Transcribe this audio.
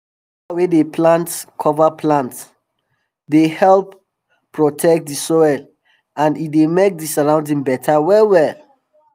farmer wey dey plant cover plants dey help protect di um soil and um e dey make di surroundings beta well well